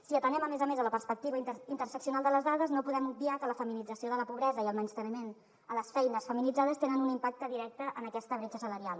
si atenem a més a més la perspectiva interseccional de les dades no podem obviar que la feminització de la pobresa i el menysteniment a les feines feminitzades tenen un impacte directe en aquesta bretxa salarial